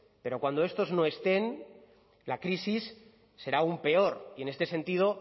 pero cuando estos no estén la crisis será aún peor y en este sentido